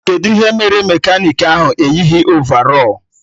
Kedụ ihe mere mekanik ahụ eyighi ovarọl?